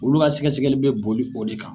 Olu ka sɛgɛsɛli bɛ boli o de kan